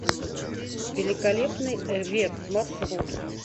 великолепный век маршрут